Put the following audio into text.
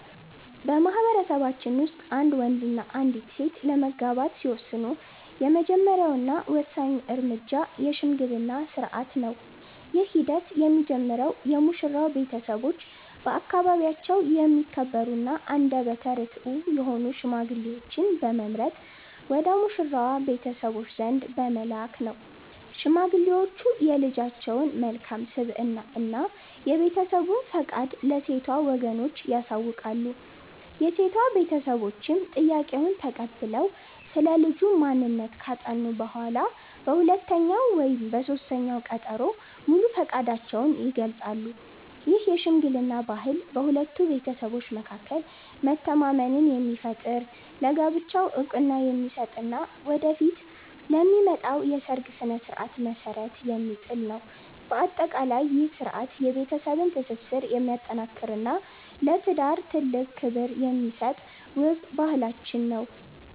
በማኅበረሰባችን ውስጥ አንድ ወንድና አንዲት ሴት ለመጋባት ሲወስኑ፣ የመጀመሪያውና ወሳኙ እርምጃ የሽምግልና ሥርዓት ነው። ይህ ሂደት የሚጀምረው የሙሽራው ቤተሰቦች በአካባቢያቸው የሚከበሩና አንደበተ ርትዑ የሆኑ ሽማግሌዎችን በመምረጥ ወደ ሙሽራዋ ቤተሰቦች ዘንድ በመላክ ነው። ሽማግሌዎቹ የልጃቸውን መልካም ስብዕና እና የቤተሰቡን ፈቃድ ለሴቷ ወገኖች ያሳውቃሉ። የሴቷ ቤተሰቦችም ጥያቄውን ተቀብለው ስለ ልጁ ማንነት ካጠኑ በኋላ፣ በሁለተኛው ወይም በሦስተኛው ቀጠሮ ሙሉ ፈቃዳቸውን ይገልጻሉ። ይህ የሽምግልና ባህል በሁለቱ ቤተሰቦች መካከል መተማመንን የሚፈጥር፣ ለጋብቻው ዕውቅና የሚሰጥ እና ወደፊት ለሚመጣው የሰርግ ሥነ ሥርዓት መሠረት የሚጥል ነው። በአጠቃላይ፣ ይህ ሥርዓት የቤተሰብን ትስስር የሚያጠናክርና ለትዳር ትልቅ ክብር የሚሰጥ ውብ ባህላችን ነው።